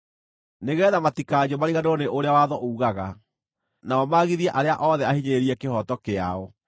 nĩgeetha matikanyue mariganĩrwo nĩ ũrĩa watho uugaga, nao magithie arĩa othe ahinyĩrĩrie kĩhooto kĩao.